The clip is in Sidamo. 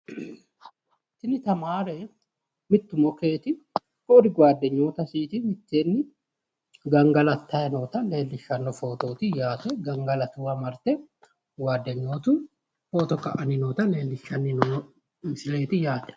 tini tamaare mittu mokeeti ku'uri gaaddenyootasiiti mitteenni gangalattanni noota leellishshanni noo footooti yaate gangalatuuwa marte gaaddenyootu footo ka'anni noota leellishshanno misileeti yaate.